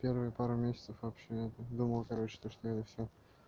первые пару месяцев вообще это думал короче то что это всё